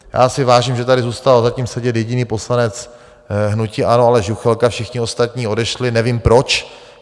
Já si vážím, že tady zůstal zatím sedět jediný poslanec hnutí ANO Aleš Juchelka, všichni ostatní odešli, nevím proč.